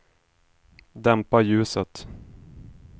dämpa ljuset